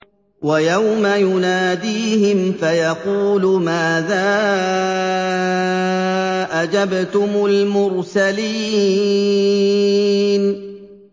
وَيَوْمَ يُنَادِيهِمْ فَيَقُولُ مَاذَا أَجَبْتُمُ الْمُرْسَلِينَ